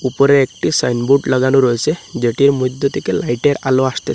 ওপরে একটি sign board লাগানো রয়েসে যেটির মইধ্যে থেকে লাইটের আলো আসতেস--